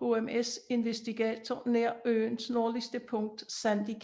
HMS Investigator nær øens nordligste punkt Sandy Cape